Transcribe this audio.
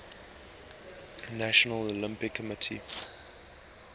national olympic committees